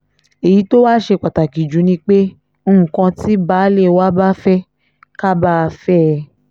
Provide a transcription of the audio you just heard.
èyí tó wàá ṣe pàtàkì jù ni pé nǹkan tí baálé wa bá fẹ́ ká bá a fẹ́ ẹ